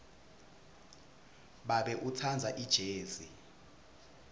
babe utsandza ijezi